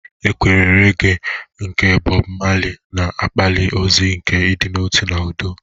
Ekwe regee nke Bob Marley na-akpali ozi nke ịdị n'otu na udo.